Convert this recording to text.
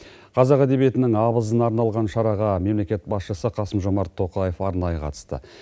қазақ әдебиетінің абызына арналған шараға мемлекет басшысы қасым жомарт тоқаев арнайы қатысты